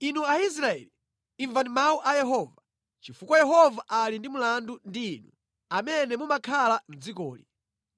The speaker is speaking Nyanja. Inu Aisraeli, imvani mawu a Yehova, chifukwa Yehova ali ndi mlandu ndi inu amene mumakhala mʼdzikoli: